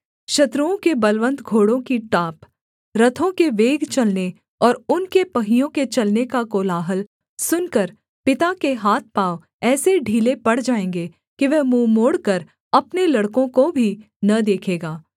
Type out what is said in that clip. शत्रुओं के बलवन्त घोड़ों की टाप रथों के वेग चलने और उनके पहियों के चलने का कोलाहल सुनकर पिता के हाथपाँव ऐसे ढीले पड़ जाएँगे कि वह मुँह मोड़कर अपने लड़कों को भी न देखेगा